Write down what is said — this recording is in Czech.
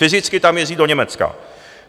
Fyzicky tam jezdí do Německa.